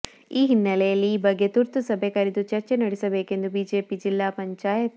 ಈ ಹಿನ್ನೆಲೆಯಲ್ಲಿ ಈ ಬಗ್ಗೆ ತುರ್ತು ಸಭೆ ಕರೆದು ಚರ್ಚೆ ನಡೆಸಬೇಕೆಂದು ಬಿಜೆಪಿಯ ಜಿಲ್ಲಾ ಪಂ